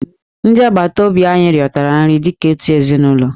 Ndị agbataobi anyị riotara nri dị ka otu ezinụlọ.